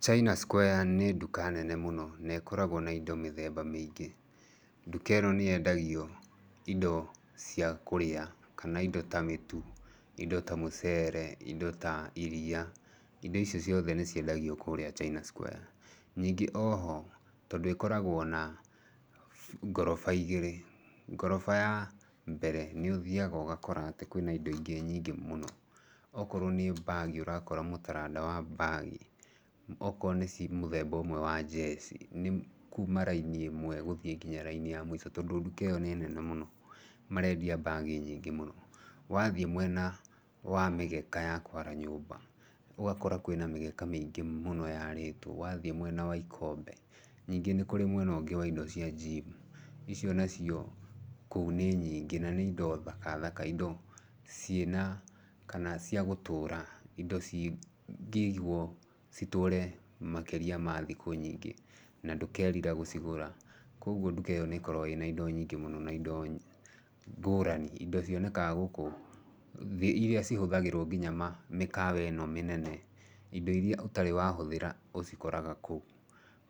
China Square nĩ nduka nene mũno, na ĩkoragwo na indo mĩthemba mĩingĩ. Nduka ĩno nĩ yendagio indo cia kũrĩa kana indo ta mĩtu, indo ta mĩcere, indo ta iria, indo icio ciothe nĩ ciendagio kũrĩa China Square. Ningĩ oho tondũ ĩkoragwo na ngoroba igĩrĩ, ngoroba ya mbere, nĩ ũthiaga ũgakora atĩ kwĩna indo nyingĩ mũno. Okorwo nĩ ta bag ũrakora mũtaranda wa bag, okorwo nĩ mũthemba ũmwe wa njeci, nĩ kuma raini ĩmwe gũthiĩ nginya raini ya mũico. Tondũ nduka ĩyo nĩ nene mũno marendia bag nyingĩ mũno. Wathiĩ mwena wa mĩgeka ya kũara nyũmba, ũgakorakwĩna mĩkeke mĩngĩ mũno yaarĩtwo, wathiĩ mwena wa ikombe. Ningĩ nĩ kũrĩ mwena wa indo cia gym, ico nacio kũu nĩ nyingĩ na nĩ indo thaka thaka, indo ciĩna kana ciagũtũra. Indo cingĩiguo citũre makĩria ma thikũ nyingĩ na ndũkerira gũcigura. Koguo nduka ĩyo nĩ ĩkoragwo na indo nyingĩ mũno na indo ngũrani, indo cionekaga gũkũ irĩa cihũthagĩrwo nginya mĩkawa ĩno mĩnene. Indo irĩa ũtarĩ wahũthĩra ũcikoraga kũu.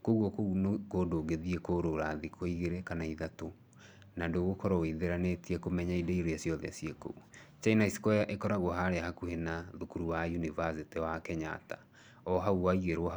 Koguo kũu nĩ kũndũ ũngĩthi kũũrũra thikũ igĩrĩ kana ithatũ na ndũgũkorwo wĩtheranĩtie kũmenya indo irĩa ciothe ciĩ kũu. China Square ĩkoragwo harĩa hakuhĩ na thukuru wa yunivasĩtĩ wa Kenyatta. O hau waigĩrwo hau.